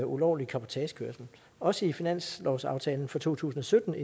ulovlig cabotagekørsel også i finanslovsaftalen for to tusind og sytten